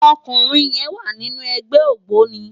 Òkúnrin yèn wá ninú ègbè ógbóni